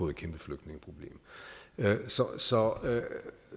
et kæmpe flygtningeproblem så